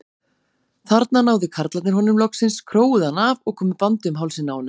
Þarna náðu karlarnir honum loksins, króuðu hann af og komu bandi um hálsinn á honum.